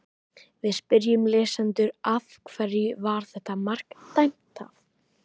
Við spyrjum lesendur: Af hverju var þetta mark dæmt af?